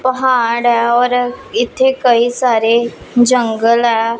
ਪਹਾੜ ਐ ਔਰ ਇਥੇ ਕਈ ਸਾਰੇ ਜੰਗਲ ਐ।